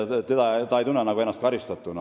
Ta ei tunne ennast karistatuna.